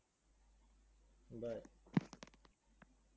bye